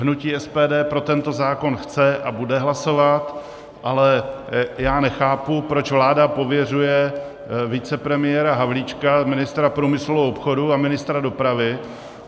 Hnutí SPD pro tento zákon chce a bude hlasovat, ale já nechápu, proč vláda pověřuje vicepremiéra Havlíčka, ministra průmyslu a obchodu a ministra dopravy.